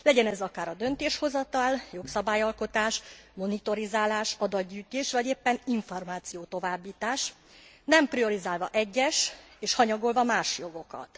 Legyen ez akár a döntéshozatal, jogszabályalkotás monitorizálása, adatgyűjtés vagy éppen információtovábbítás, nem priorizálva egyes és hanyagolva más jogokat.